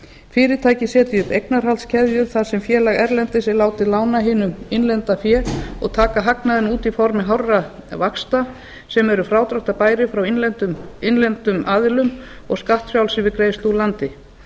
fyrirtækið sér því um eignarhaldskeðju þar sem félag erlendis er látið lána hinum innlenda fé og taka hagnaðinn út í formi hárra vaxta sem eru frádráttarbærir frá innlendum aðilum og skattfrjálsir við greiðslu úr landi